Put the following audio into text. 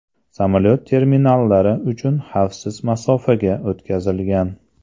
Samolyot terminallar uchun xavfsiz masofaga o‘tkazilgan.